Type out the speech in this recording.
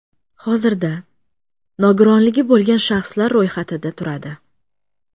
Hozirda nogironligi bo‘lgan shaxslar ro‘yxatida turadi.